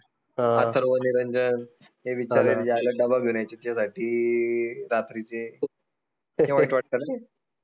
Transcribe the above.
अथर्व, निरंजन डबा घेऊन यायचे तिच्यासाठी रात्रीचे किती वाईट वाटत ना?